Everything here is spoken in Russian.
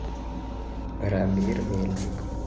рамир мельников